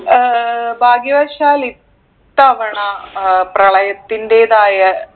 ഏർ ഭാഗ്യവശാൽ ഇത്തവണ ഏർ പ്രളയത്തിന്റേതായ